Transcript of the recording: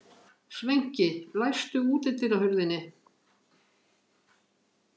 Sveinki, læstu útidyrahurðinni.